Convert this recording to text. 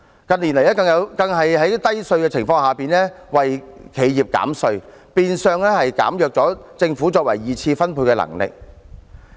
近年來更在稅率偏低的情況下為企業減稅，變相削弱政府作二次分配的能力。